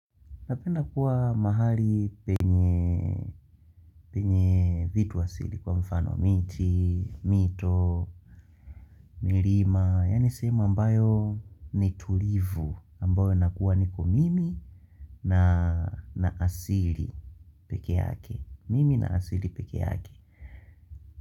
Napenda kuwa mahali penye vitu asili kwa mfano miti, mito, milima Yani sehemu ambayo ni tulivu ambayo nakuwa niko mimi na asili peke yake.